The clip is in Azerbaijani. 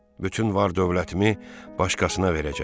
Bütün var-dövlətimi başqasına verəcəm.